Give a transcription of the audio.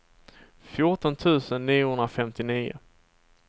fjorton tusen niohundrafemtionio